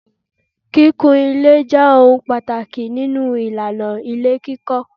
Kíkún ilé je ohun pàtàkì nínú ìlànà ilé kíkọ